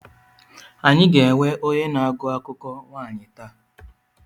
Anyị ga-enwe onye na-agụ akụkọ nwaanyị taa.